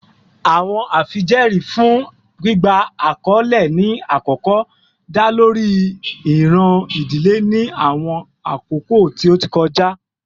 Awọn afijẹẹri fun gbigba akọle ni akọkọ da lori iran idile ni awọn akoko ti o ti kọja